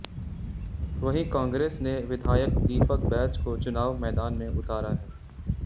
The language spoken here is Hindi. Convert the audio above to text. वहीं कांग्रेस ने विधायक दीपक बैज को चुनाव मैदान में उतारा है